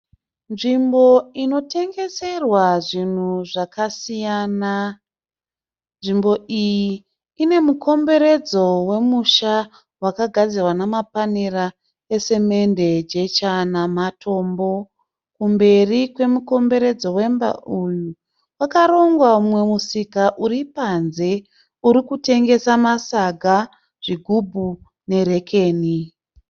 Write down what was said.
Nzvimbo inotengeserwa zvinhu zvakasiyana. Nzvimbo iyi ine mukomberedzo wemusha wakagadzirwa neMapanera eSemende, Jecha naMatombo. Kumberi kwemukomberedzo wemba uyu kwakarongwa mumwe musika uripanze urikutengesa maSaga, Zvigubu neRekeni.